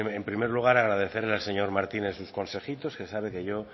en primer lugar agradecerle al señor martínez sus consejitos que sabe que yo